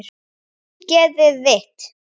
Ógeðið þitt!!